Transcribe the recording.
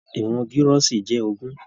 Ìwọn girọsi jẹ ogún.